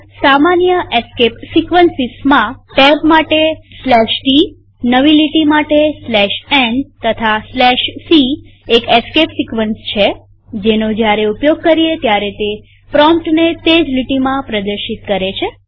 સામાન્ય એસ્કેપ સીક્વન્સીસમાં ટેબ માટે tનવી લીટી માટે n તથા c એક એસ્કેપ સિક્વન્સ છે જેનો જયારે ઉપયોગ કરીએ ત્યારે તે પ્રોમ્પ્ટને તે જ લીટીમાં પ્રદર્શિત કરે છે